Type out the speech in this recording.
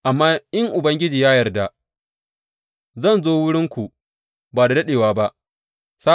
Amma in Ubangiji ya yarda zan zo wurinku ba da daɗewa ba.